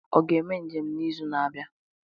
Ọ ga-eme njem n'izu na-abịa?